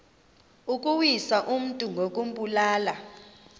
ukuwisa umntu ngokumbulala